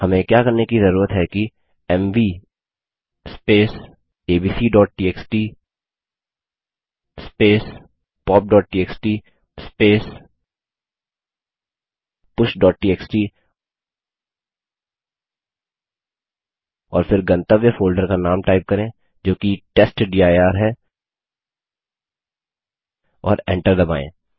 हमें क्या करने कि जरूरत है कि एमवी abcटीएक्सटी popटीएक्सटी pushटीएक्सटी और फिर गंतव्य फोल्डर का नाम टाइप करें जो कि टेस्टडिर है और एंटर दबायें